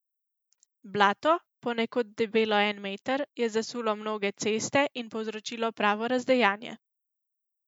Blato, ponekod debelo en meter, je zasulo mnoge ceste in povzročilo pravo razdejanje.